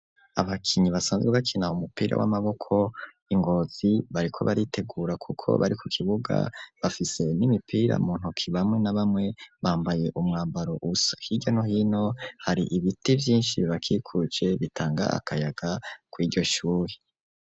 Abakinyi basanzwe bakina umupira w'amaboko I Ngozi bariko baritegura kuko bari ku kibuga bafise n'imipira mu ntoki bamwe nabamwe bambaye umwambaro usa hiryano hino hari ibiti vyinshi bibakikuce bitanga akayaga kwiryo shuri.